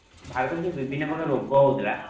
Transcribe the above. ଭାରତ ର ଯୋଉ ବିଭିନ୍ନ ପ୍ରକାର ରୋଗ ହେଉଥିଲା